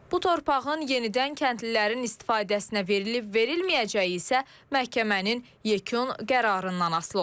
Bu torpağın yenidən kəndlilərin istifadəsinə verilib-verilməyəcəyi isə məhkəmənin yekun qərarından asılı olacaq.